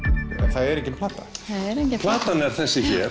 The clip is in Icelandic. það er engin plata platan er þessi hér